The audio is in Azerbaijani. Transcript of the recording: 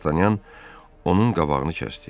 Dartanyan onun qabağını kəsdi.